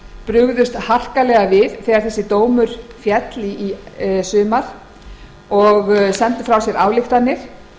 brugðust harkalega við þegar dómurinn féll í sumar og sendu frá sér ályktanir